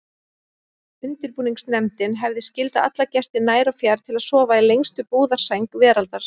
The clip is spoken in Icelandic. Undirbúningsnefndin hefði skyldað alla gesti nær og fjær til að sofa í lengstu brúðarsæng veraldar.